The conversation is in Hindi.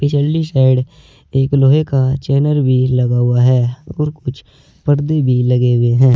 साइड एक लोहे का चैनर भी लगा हुआ है और कुछ पर्दे भी लगे हुए हैं।